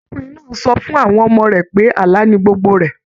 Arákùnrin náà sọ fún àwọn ọmọ rẹ pé àlà ní gbogbo rẹ.